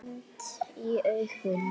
Beint í augun.